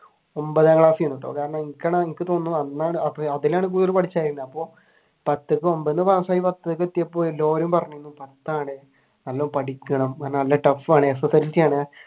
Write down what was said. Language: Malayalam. ഒൻപതാം ക്ലാസ് ആയിരുന്നുട്ടോ കാരണം പത്താണ്‌ നല്ലോണം പഠിക്കണം നല്ല tough ആണ് SSLC ആണ്.